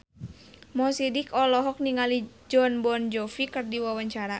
Mo Sidik olohok ningali Jon Bon Jovi keur diwawancara